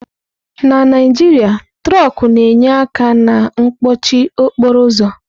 Na Naijiria, trọkú na-enye aka na mkpọchị okporo ụzọ.